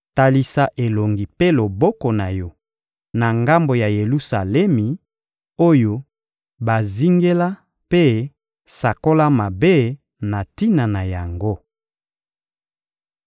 Talisa elongi mpe loboko na yo na ngambo ya Yelusalemi oyo bazingela mpe sakola mabe na tina na yango.